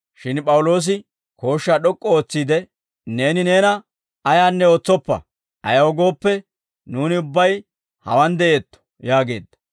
Shin P'awuloosi kooshshaa d'ok'k'u ootsiide, «Neeni neena ayaanne ootsoppa; ayaw gooppe, nuuni ubbay hawaan de'eetto» yaageedda.